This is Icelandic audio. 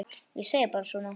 Ég segi bara svona.